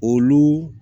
Olu